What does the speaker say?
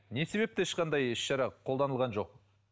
не себепті ешқандай іс шара қолданылған жоқ